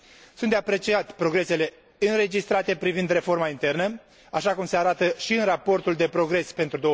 Sunt de apreciat progresele înregistrate privind reforma internă, așa cum se arată și în raportul de progres pentru